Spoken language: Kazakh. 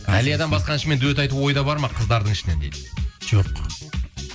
әлиядан басқа әншімен дуэт айту ойда бар ма қыздардың ішінен дейді жоқ